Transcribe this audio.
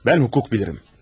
Mən hukuk bilirim.